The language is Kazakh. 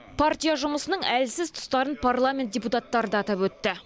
партия жұмысының әлсіз тұстарын парламент депутаттары да атап өтті